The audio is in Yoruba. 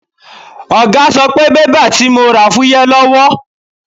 Ọ̀gá sọ pé bébà tí mo rà fúyẹ́ lọ́wọ́.